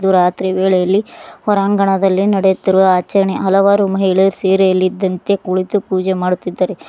ಇದು ರಾತ್ರಿ ವೇಳೆಯಲ್ಲಿ ಹೊರಾಂಗಣದಲ್ಲಿ ನಡೆಯುತ್ತಿರುವ ಆಚರಣೆ ಹಲವಾರು ಮಹಿಳೆ ಸೀರೆಯಲ್ಲಿದ್ದಂತೆ ಕುಳಿತು ಪೂಜೆ ಮಾಡುತ್ತಿದ್ದಾರೆ.